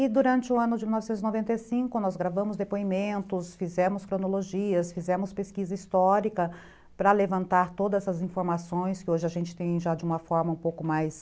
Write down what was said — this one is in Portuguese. E durante o ano de mil novecentos e noventa e cinco, nós gravamos depoimentos, fizemos cronologias, fizemos pesquisa histórica para levantar todas essas informações que hoje a gente tem já de uma forma um pouco mais...